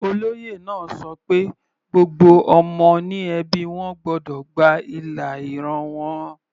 Olóyè náà ṣọ pé gbogbo ọmọ ní ẹbí wọn gbọ́dọ̀ gba ìlà ìran wọn.